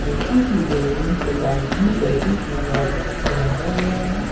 किसी की जमीन को गार्डनिंग कैची के हिसाब से सजाया गया है।